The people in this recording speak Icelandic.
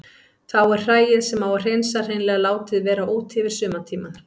Þá er hræið sem á að hreinsa hreinlega látið vera úti yfir sumartímann.